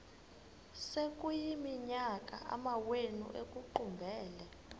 sekuyiminyaka amawenu ekuqumbele